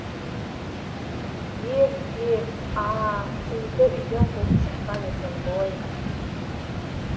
е р к е к а а а сізді үйден қуып шыққан екен ғой